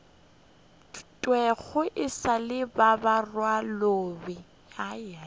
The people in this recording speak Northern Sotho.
thwego e sa le didirwabaloi